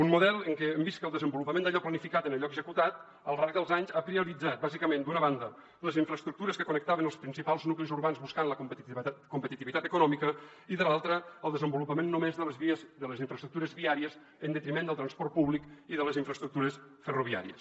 un model en què hem vist que el desenvolupament d’allò planificat en allò executat al llarg dels anys ha prioritzat bàsicament d’una banda les infraestructures que connectaven els principals nuclis urbans buscant la competitivitat econòmica i de l’altra el desenvolupament només de les infraestructures viàries en detriment del transport públic i de les infraestructures ferroviàries